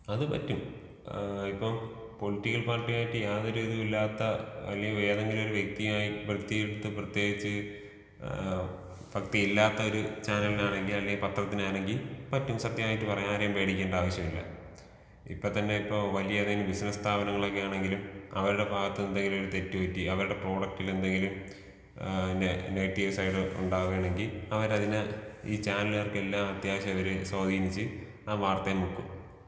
അത് പറ്റും ഏ ഇപ്പം പൊളിറ്റിക്കൽ പാർട്ടിയുമായിട്ട് യാതൊരു ഇധൂം ഇല്ലാത്ത അല്ലെങ്കി ഏതെങ്കിലും വ്യക്തിയുമായിട്ട് നോട്ട്‌ ക്ലിയർ പ്രത്യേകിച്ച് ഏ ഫക്തി ഇല്ലാത്തൊരു ചാനലിലാണെങ്കി അല്ലെങ്കിൽ പത്രത്തിനാണെങ്കി പറ്റും സത്യമായിട്ട് പറയാം ആരെയും പേടിക്കേണ്ട ആവശ്യമില്ല. ഇപ്പത്തന്നെ ഇപ്പോ വലിയ ഏതെങ്കിലും ബിസിനസ് സ്ഥാപനങ്ങളൊക്കെയാണെങ്കിലും അവരുടെ ഭാഗത്ത് എന്തെങ്കിലുമൊക്കെ തെറ്റുപറ്റി അവരുടെ പ്രോഡക്റ്റിൽ എന്തെങ്കിലും ഏഹ് പിന്നെ നെഗറ്റീവ് സൈഡ് ഉണ്ടാവാണെങ്കി അവര് അതിനെ ഈ ചാനൽകാർക്ക് എല്ലാ അത്യാവശ്യമവര് സ്വാധീനിച്ച് ആ വാർത്തെ മുക്കും.